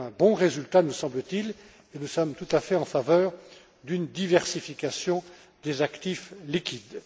C'est un bon résultat, me semble t il, et nous sommes tout à fait en faveur d'une diversification des actifs liquides.